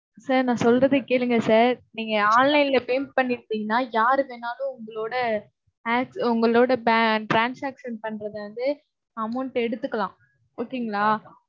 sir நான் சொல்றதைக் கேளுங்க sir. நீங்க online ல payment பண்ணி இருந்தீங்கன்னா யாரு வேணாலும் உங்களோட உங்களோட transaction பண்றதை வந்து amount எடுத்துக்கலாம் okay ங்களா.